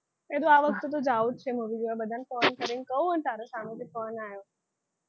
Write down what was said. કીધું આ વખતે તો જાવું જ છે movie જોવા બધાને call કરીને કહું અને તારો સામેથી call આયો.